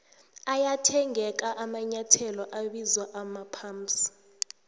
ayathengeka amanyethelo abizwa amaphamsi